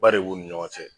Ba de b'u ni ɲɔgɔn cɛ